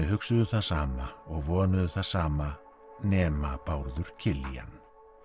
hugsuðu það sama og vonuðu það sama nema Bárður Killian